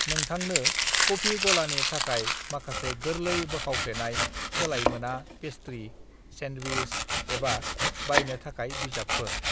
"नोंथांनो कफी गलानि थाखाय माखासे गोर्लै बोखावफ्लेनाय सोलायमोना पेस्ट्री, सैन्डविच एबा बायनो थाखाय बिजाबफोर।"